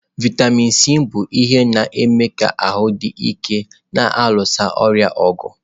Vịatamin Sii bụ ihe na-eme ka ahụ dị ike na-alụso ọrịa ọgụ.